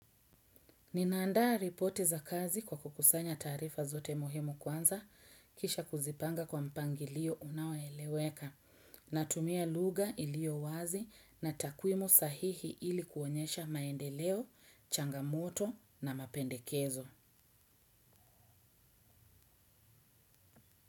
Ninaandaa ripoti za kazi kwa kukusanya taarifa zote muhimu kwanza kisha kuzipanga kwa mpangilio unaoeleweka na tumia luga ilio wazi na takwimu sahihi ilikuonyesha maendeleo, changamoto na mapendekezo.